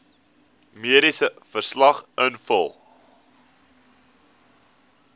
mediese verslag invul